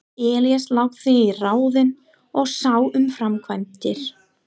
Elías lagði á ráðin og sá um framkvæmdir.